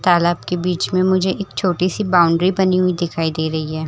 तालाब के बीच में मुझे एक छोटी सी बाउंड्री बनी हुई दिखाई दे रही है।